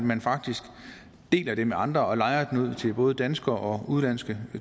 man faktisk deler det med andre og lejer det ud til både danskere og udenlandske